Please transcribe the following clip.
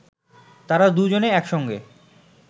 তাঁরা দুজনে একসঙ্গে